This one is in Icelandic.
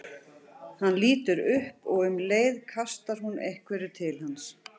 Hann lítur upp og um leið kastar hún einhverju til hans.